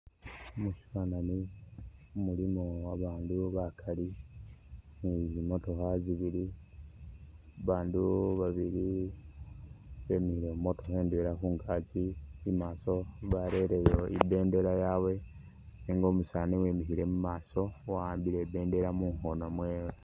Musifanani mulimo babaandu bakali ne zimotokha zibili babaandu babili bemikhile mumotokha indwela khungaki imaaso bareleyo ibindela yawe nenga umusaani uwimikhile mumaaso wawambile ibindela mukhoono